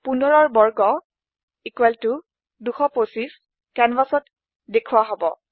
15ৰ বৰ্গ 225 কেনভাচত দেখোৱা হব